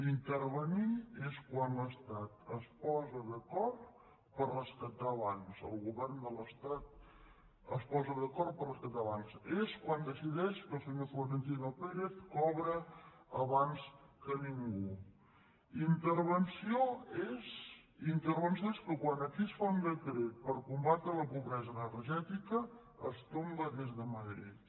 intervenir és quan l’estat es posa d’acord per rescatar bancs el govern de l’estat es posa d’acord per rescatar bancs és quan decideix que el senyor florentino pérez cobra abans que ningú intervenció és que quan aquí es fa un decret per combatre la pobresa energètica es tomba des de madrid